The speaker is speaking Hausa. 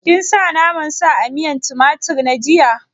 Kin sa naman sa a miyan tumatir na jiya?